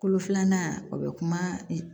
Kolo filanan o bɛ kuma